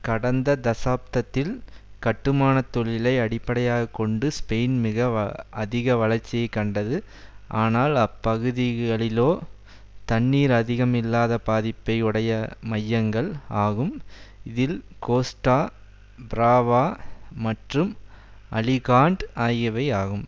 கடந்த தசாப்தத்தில் கட்டுமான தொழிலை அடிப்படையாக கொண்டு ஸ்பெயின் மிக அதிக வளர்ச்சியை கண்டது ஆனால் அப்பகுதிகளிளோ தண்ணீர் அதிகம் இல்லாத பாதிப்பை உடைய மையங்கள் ஆகும் இதில் கோஸ்டா பிராவா மற்றும் அலிகான்ட் ஆகியவை ஆகும்